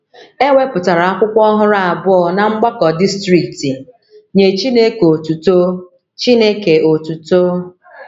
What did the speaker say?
E wepụtara akwụkwọ ọhụrụ abụọ ná Mgbakọ Distrikti “ Nye Chineke Otuto. Chineke Otuto. ”